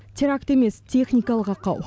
теракт емес техникалық ақау